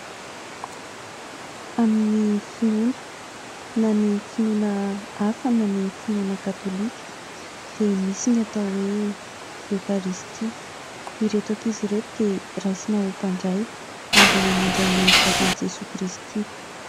Amin'ny finoana, na finoana hafa na ny finoana Katôlika dia misy ny atao hoe Eokaristia. Ireto ankizy ireto dia raisina ho mpandray ary mandray ny vatan'i Jesoa Kristy.